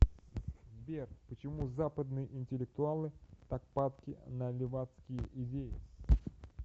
сбер почему западные интеллектуалы так падки на левацкие идеи